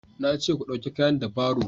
na ce ku dauka kayan da baro